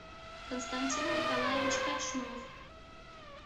константин николаевич кочнов